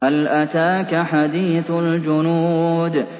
هَلْ أَتَاكَ حَدِيثُ الْجُنُودِ